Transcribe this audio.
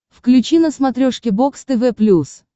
включи на смотрешке бокс тв плюс